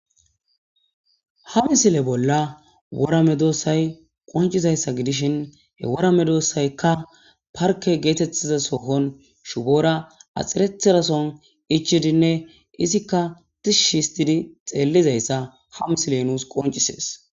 Hamisile bolla worame doossay qoncizayssa gidishin he worame doossaykka parke geetettiza sohon shuboora axxirethirason ichidinne izikka tishi histidi xeellizayssa hamsile nuus qoncisees.